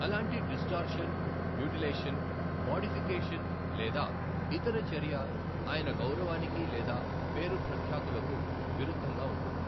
అలాంటి distortion, mutilation, modification లేదా ఇతర చర్య ఆయన గౌరవానికి లేదా పేరు ప్రఖ్యాతులకు విరుద్ధంగా ఉంటుంది.